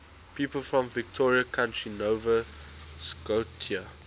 people from victoria county nova scotia